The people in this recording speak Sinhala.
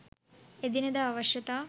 එදිනෙදා අවශ්‍යතා